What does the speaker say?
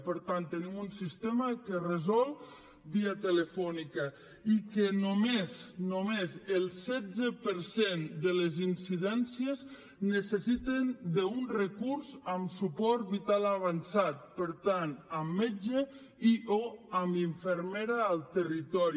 per tant tenim un sistema que resol via telefònica i que només només el setze per cent de les incidències necessiten un recurs amb suport vital avançat per tant amb metge i o amb infermera al territori